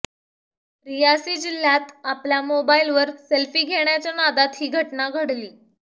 रियासी जिल्ह्यात आपल्या मोबाईलवर सेल्फी घेण्याच्या नादात ही घटना घडली